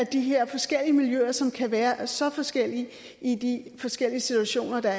de her forskellige miljøer er som kan være så forskellige i de forskellige situationer